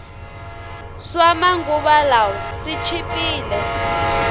swama nguva lawa swi chipile